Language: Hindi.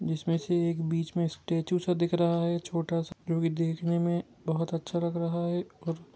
जिसमें से एक बीच में स्टैचू सा दिख रहा है छोटा सा ज्योकी देखने में बहुत अच्छा लग रहा है और--